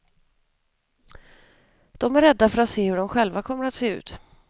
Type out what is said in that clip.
De är rädda för att se hur de själva kommer att se ut.